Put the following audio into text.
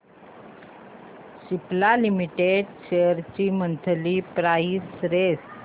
Cipla limited shares ची monthly price range